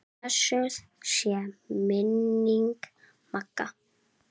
Blessuð sé minning Magga.